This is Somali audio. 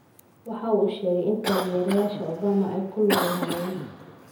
waxa uu sheegay in taageerayaasha Obama ay ku lug lahaayeen.